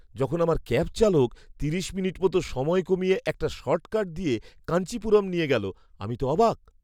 যখন আমার ক্যাব চালক তিরিশ মিনিট মতো সময় কমিয়ে একটা শর্টকাট দিয়ে কাঞ্চিপুরম নিয়ে গেল, আমি তো অবাক!